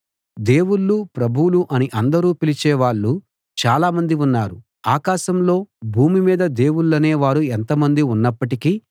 దేవుళ్ళు ప్రభువులు అని అందరూ పిలిచే వాళ్ళు చాలామంది ఉన్నారు ఆకాశంలో భూమి మీదా దేవుళ్ళనే వారు ఎంతమంది ఉన్నప్పటికీ